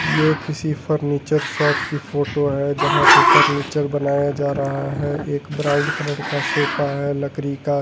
यह किसी furniture shop की फोटो है जहां पे फर्नीचर बनाया जा रहा है एक ब्राउन कलर का सोफा है लकड़ी का।